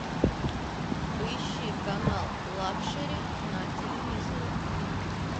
поищи канал лакшери на телевизоре